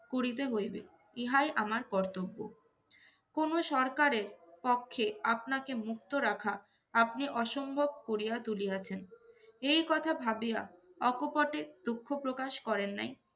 করিতে হইবে, ইহাই আমার কর্তব্য। কোনো সরকারের পক্ষে আপনাকে মুক্ত রাখা আপনি অসম্ভব করিয়া তুলিয়াছেন। এই কথা ভাবিয়া অকপটে দুঃখ প্রকাশ করেন নাই